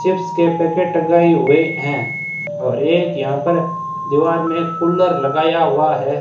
Chips के packet टंगाए हुए हैं और एक यहां पर दीवार में कूलर लगाया हुआ है।